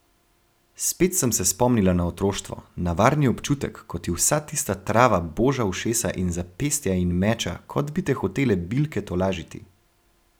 Spet sem se spomnila na otroštvo, na varni občutek, ko ti vsa tista trava boža ušesa in zapestja in meča, kot bi te hotele bilke tolažiti.